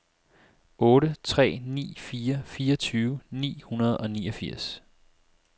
otte tre ni fire fireogtyve ni hundrede og niogfirs